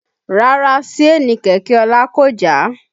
Rárá Síènì kẹ̀kẹ́ ọlá kò já